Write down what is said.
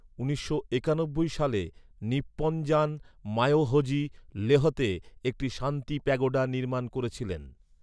উনিশশো একানব্বই সালে, নিপ্পনজান মায়োহোজি লেহতে একটি শান্তি প্যাগোডা নির্মাণ করেছিলেন।